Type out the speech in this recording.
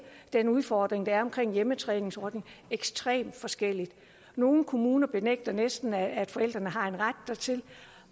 den udfordring der er omkring hjemmetræningsordningen ekstremt forskelligt nogle kommuner benægter næsten at forældrene har en ret dertil